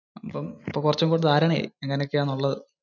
ഇപ്പോ കുറച്ചുംകൂടി ധാരണ ആയി. എങ്ങനെയൊക്കെയാ ഉള്ളത് എന്ന്.